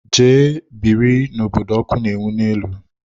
Jee biri n'obodo ọkụ na-enwu n'elu!